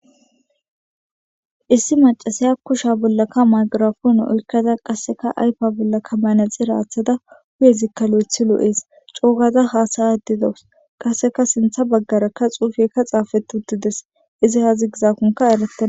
Issi macasiy a kusha bollakka magirafon oykada qasseka aypa bollakka manexi raaththada huyezikka lo7ethi lo7ees coogaza haasaya didawus qasseka sintha baggarakka xuufekka xaafetutides izi haazi gizaakonka eletaa